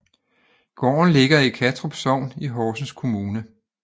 Gården ligger i Kattrup Sogn i Horsens Kommune